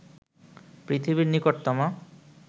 পৃথিবীর নিকটতম